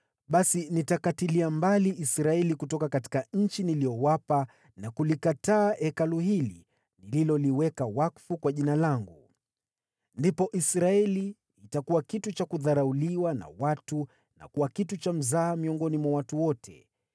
basi nitakatilia mbali Israeli kutoka nchi niliyowapa, nami nitalikataa Hekalu hili nililolitakasa kwa ajili ya Jina langu. Ndipo Israeli itakuwa kitu cha kudharauliwa na watu na kuwa kitu cha kudhihakiwa miongoni mwa watu wote.